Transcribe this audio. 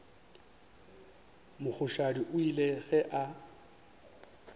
mogoshadi o ile ge a